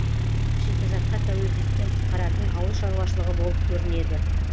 шикізатқа тәуелділіктен құтқаратын ауыл шаруашылығы болып көрінеді